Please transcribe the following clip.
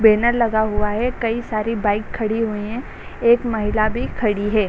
Banner लगा हुआ है | कई सारी बाइक खड़ी हुई है | एक महिला भी खड़ी है।